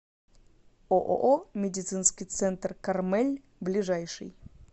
ооо медицинский центр кармель ближайший